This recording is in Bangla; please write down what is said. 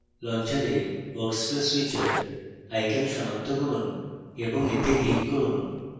launcher workspace switcher icon সনাক্ত করুন এবং এতে click করুন